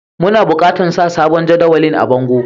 Muna bukatan sa sabon jadawalin a bongo.